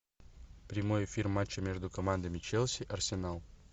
прямой эфир матча между командами челси арсенал